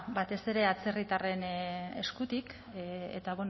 batez ere atzerritarren eskutik eta